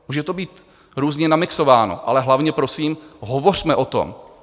Může to být různě namixováno, ale hlavně prosím, hovořme o tom!